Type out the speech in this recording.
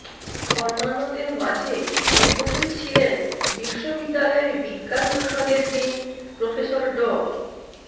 অন্যান্যদের মাঝে উপস্থিত ছিলেন বিশ্ববিদালয়ের বিজ্ঞান অনুষদের ডিন প্রফেসর ড